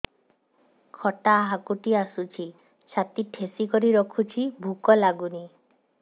ଖଟା ହାକୁଟି ଆସୁଛି ଛାତି ଠେସିକରି ରଖୁଛି ଭୁକ ଲାଗୁନି